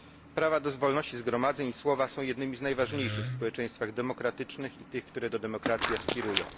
Prawa do wolności zgromadzeń i słowa są jednymi z najważniejszych w społeczeństwach demokratycznych i tych, które do demokracji aspirują.